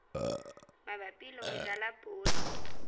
mabapi le ho jala poone